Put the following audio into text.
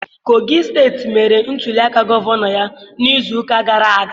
Kogi steeti mere ntuliaka gọvanọ ya n'izuụka gara aga.